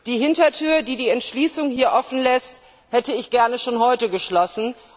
Die Hintertür, die die Entschließung hier offen lässt, hätte ich gerne schon heute geschlossen.